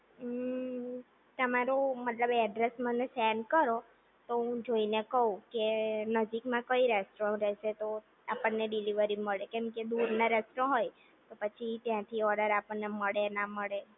હમ્મ તમારું મતલબ એડ્રૈસ મને સેન્ડ કરો તો હું જોઈને કવ કે નજીકમાં કઈ રેસ્ટોરન્ટ રહેશે તો આપણે ડિલિવરી મળે કેમકે દૂરના રેસ્ટો હોય તો પછી ત્યાંથી ઓર્ડર આપણે મળે ના મળે